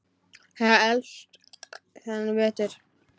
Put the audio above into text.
Þeir höfðu elst þennan vetur.